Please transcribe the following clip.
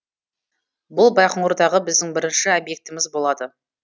бұл байқоңырдағы біздің бірінші объектіміз болады